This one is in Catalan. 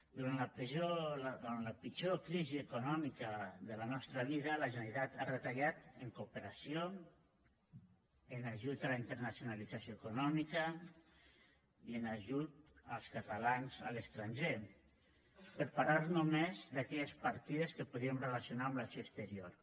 durant la pitjor crisi econòmica de la nostra vida la generalitat ha retallat en cooperació en ajut a la internacionalització econòmica i en ajut als catalans a l’estranger per parlar només d’aquelles partides que podríem relacionar amb l’acció exterior